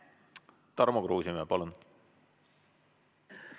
Tarmo Kruusimäe, palun!